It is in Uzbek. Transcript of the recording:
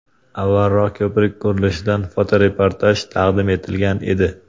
Avvalroq ko‘prik qurilishidan fotoreportaj taqdim etilgan edi.